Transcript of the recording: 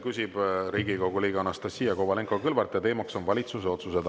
Küsib Riigikogu liige Anastassia Kovalenko-Kõlvart ja teema on valitsuse otsused.